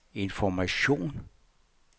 information